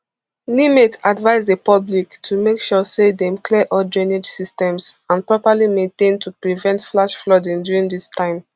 nimet advise di public to make sure say dem clear all drainage systems and properly maintain to prevent flash flooding during dis time